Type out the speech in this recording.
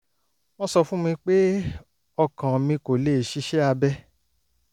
wọ́n sọ fún mi pé ọkàn mi kò lè ṣiṣẹ́ abẹ